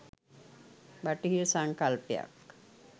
බටහිර සංකල්පයක්